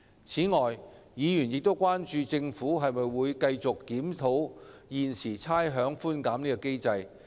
此外，議員關注到，政府會否繼續檢討現時的差餉寬減機制。